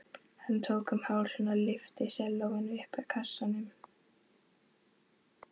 Hann tók um hálsinn og lyfti sellóinu upp úr kassanum.